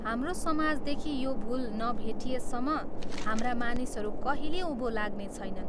हाम्रो समाजदेखि यो भूल नभेटिएसम्म हाम्रा मानिसहरू कहिले उँभो लाग्नेछैनन्।